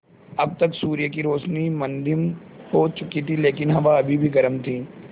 अब तक सूर्य की रोशनी मद्धिम हो चुकी थी लेकिन हवा अभी भी गर्म थी